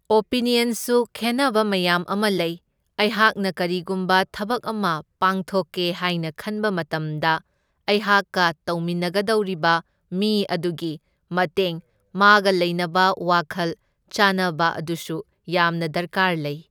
ꯑꯣꯄꯤꯅ꯭ꯌꯟꯁꯨ ꯈꯦꯟꯅꯕ ꯃꯌꯥꯝ ꯑꯃ ꯂꯩ, ꯑꯩꯍꯥꯛꯅ ꯀꯔꯤꯒꯨꯝꯕ ꯊꯕꯛ ꯑꯃ ꯄꯥꯡꯊꯣꯛꯀꯦ ꯍꯥꯏꯅ ꯈꯟꯕ ꯃꯇꯝꯗ ꯑꯩꯍꯥꯛꯀ ꯇꯧꯃꯤꯟꯅꯒꯗꯧꯔꯤꯕ ꯃꯤ ꯑꯗꯨꯒꯤ ꯃꯇꯦꯡ, ꯃꯥꯒ ꯂꯩꯅꯕ ꯋꯥꯈꯜ ꯆꯥꯅꯕ ꯑꯗꯨꯁꯨ ꯌꯥꯝꯅ ꯗꯔꯀꯥꯔ ꯂꯩ꯫